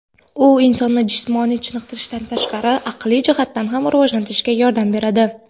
U insonni jismoniy chiniqtirishdan tashqari aqliy jihatdan ham rivojlanishga yordam beradi.